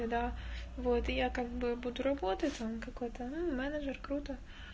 да вот я как бы буду работать а он какой-то менеджер круто